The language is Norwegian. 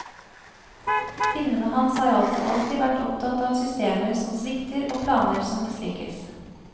Filmene hans har altså alltid vært opptatt av systemer som svikter og planer som mislykkes.